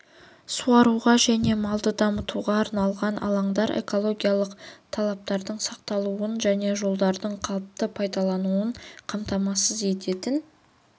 суаруға және малды дамылдатуға арналған алаңдар экологиялық талаптардың сақталуын және жолдардың қалыпты пайдаланылуын қамтамасыз ететін